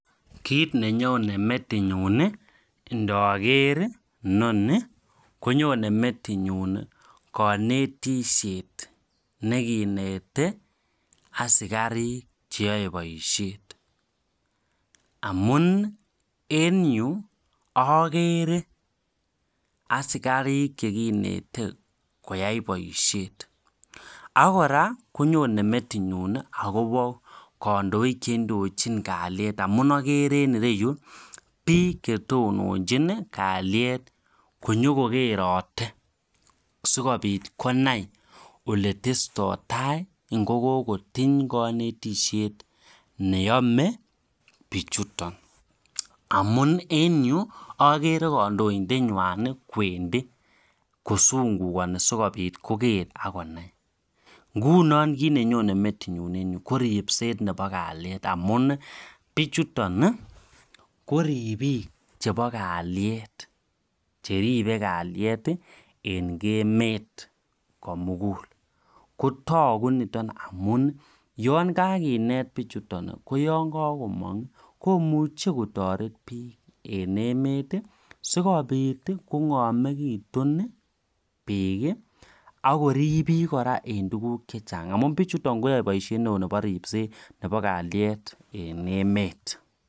Kiit ne nyone metitnyun ndager inoni ko nyone metitnyun kanetishet ne kineti asikarik che yae poishet amun en yu akere asikarik che kineti koyai poishet. Ak kora konyone metinyun akopa kandoik che indochin kalyet amun agere kora ene yu piik che tononchin kalyet amun agere ine yu piik che tononchin kalyet ko nyuko kerate sikopit konai ole testai tai ngo kokotiny kanetishet ne yame pichuton amu en akere kandoindetnywan kowendi kosungukani asikopit konai. Ngunan kiit ne nyone metitnyun en yutan ko ripset ap kalyet amun pichuton koripiik chepo kalyet che ripei kalet en emet ko mugul. Ko tagu niton amu yan kakinet pichuton ko yan kakomang' ko muchi kotaret piik ene emet sikopit kong'amegitu piik ak korip piik kora en tuguk che chang' amun pichuton koyae poishet neo nepo rippset ap kalyet en emet.